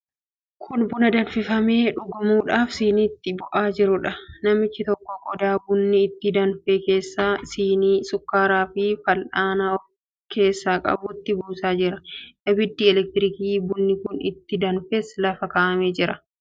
Kun buna danfifamee dhugamuudhaaf siniitti bu'aa jiruudha. Namichi tokko qodaa bunni itti danfe keessaa sinii shukkaaraafi fal'aana of keessaa qabutti buusaa jira. Abiddi elektirikii bunni kun itti danfes lafa kaa'amee jira.